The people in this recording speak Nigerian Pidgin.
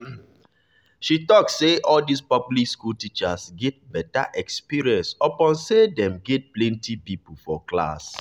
she talk say all this public school teachers get better experience upon say them get plenty people for class